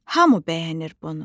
hamı bəyənir bunu.